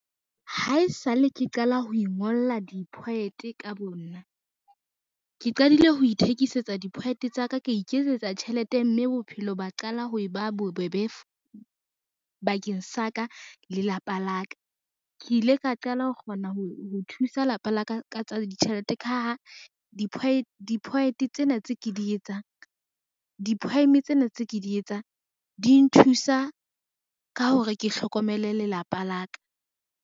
Ha e sa le ke qala ho ingolla di-poet ka bo nna, ke qadile ho ithekisetsa di-poet-e tsa ka, ka iketsetsa tjhelete mme bophelo ba qala ho e ba bobebe bakeng sa ka le lapa la ka. Ke ile ka qala ho kgona ho thusa lapa la ka ka tsa ditjhelete ka ha di-poem tsena tse ke di etsang di nthusa ka hore ke hlokomele lelapa la ka.